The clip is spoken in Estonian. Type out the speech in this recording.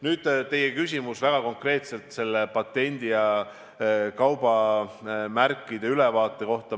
Nüüd teie küsimus konkreetselt selle patendi ja kaubamärkide ülevaate kohta.